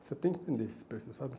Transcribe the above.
Você tem que entender esse perfil, sabe?